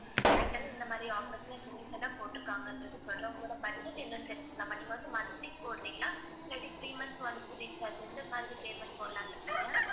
Airtel இந்த மாதிரி offers ச இப்ப recent டா போட்டு இருக்காங்கன்றது சொல்றேன் உங்களோட budget என்னன்னு தெரிஞ்சுக்கலாமா? நீங்க வந்து monthly போடுறீங்களா? இல்லாட்டி three months once recharge எந்த மாதிரி payment போடலாம்னு இருக்கீங்க?